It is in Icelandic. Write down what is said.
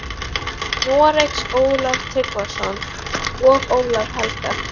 Noregs, Ólaf Tryggvason og Ólaf helga.